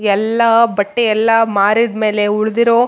ಎಲ್ಲ ಬಟ್ಟೆ ಎಲ್ಲ ಮಾರಿದ್ ಮೇಲೆ ಉಳ್ದಿರೋ--